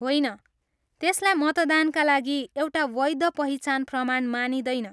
होइन, त्यसलाई मतदानका लागि एउटा वैध पहिचान प्रमाण मानिँदैन।